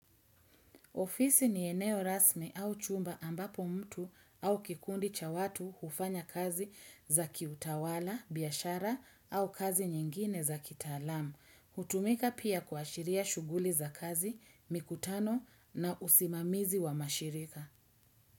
Ofisi ni eneo rasmi au chumba ambapo mtu au kikundi cha watu hufanya kazi za kiutawala, biashara au kazi nyingine za kitaalam. Hutumika pia kuashiria shughuli za kazi, mikutano na usimamizi wa mashirika.